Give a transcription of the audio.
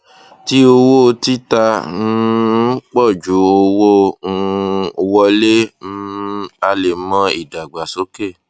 tí owó tita um pọ ju owó um wọlé um a le mọ ìdàgbàsókè